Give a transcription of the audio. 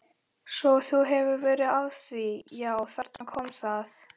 Svo þú hefur verið að því já, þarna kom það.